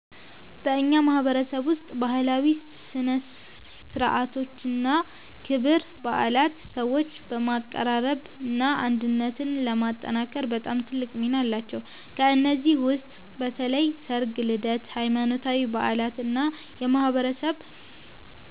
በእኛ ማህበረሰብ ውስጥ ባህላዊ ሥነ ሥርዓቶችና ክብረ በዓላት ሰዎችን ለማቀራረብና አንድነትን ለማጠናከር በጣም ትልቅ ሚና አላቸው። ከእነዚህ ውስጥ በተለይ ሠርግ፣ ልደት፣ ሃይማኖታዊ በዓላት እና የማህበረሰብ